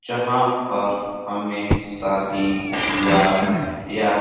जहाँ पर हमें शादी विवाह या --